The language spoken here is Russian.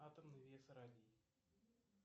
атомный вес радий